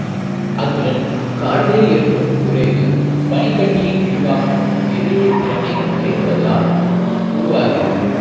அத்துடன் காடுகளில் ஏற்படும் குறைவு பனி கட்டியின் விரிவாக்கம் எதிரொளித்திறனை குறைப்பதனால் உருவாகிறது